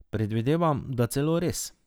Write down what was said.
Predvidevam, da celo res.